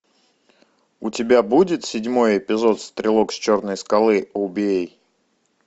у тебя будет седьмой эпизод стрелок с черной скалы убей